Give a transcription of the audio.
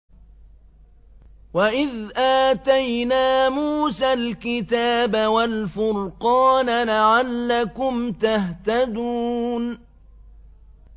وَإِذْ آتَيْنَا مُوسَى الْكِتَابَ وَالْفُرْقَانَ لَعَلَّكُمْ تَهْتَدُونَ